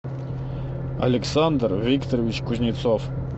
александр викторович кузнецов